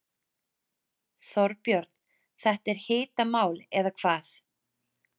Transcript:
Þorbjörn, þetta er hitamál eða hvað?